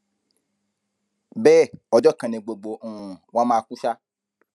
bẹẹ ọjọ kan ni gbogbo um wa mà kú ṣá